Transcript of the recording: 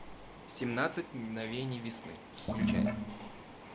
семнадцать мгновений весны включай